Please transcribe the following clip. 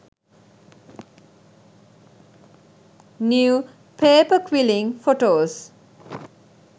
new paper quilling photos